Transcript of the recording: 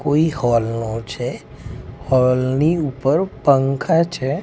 કોઈ હૉલ નો છે હૉલ ની ઉપર પંખા છે.